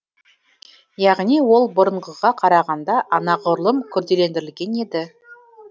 яғни ол бұрынғыға қарағанда анағұрлым күрделендірілген еді